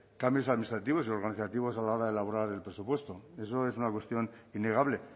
cambios administrativos y organizativos a la hora de elaborar el presupuesto eso es una cuestión innegable